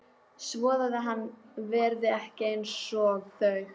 Svoað hann verði ekki einsog þau.